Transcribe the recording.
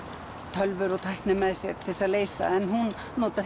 tölvur og tækni með sér til þess að leysa en hún notar